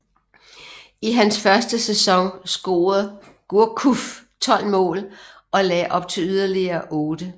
I hans første sæson scorede Gourcuff 12 mål og lagde op til yderligere 8